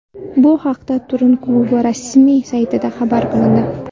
Bu haqda Turin klubi rasmiy saytida xabar qilindi .